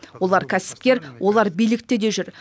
олар кәсіпкер олар билікте де жүр